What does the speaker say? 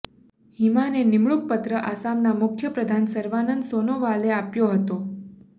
હિમાને નિમણૂક પત્ર આસામના મુખ્ય પ્રધાન સર્વાનંદ સોનોવાલે આપ્યો હતો